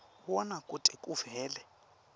wona kute kuvele